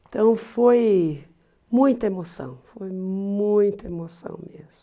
Então foi muita emoção, foi muita emoção mesmo.